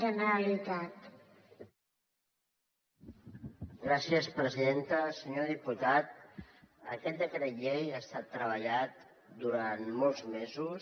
senyor diputat aquest decret llei ha estat treballat durant molts mesos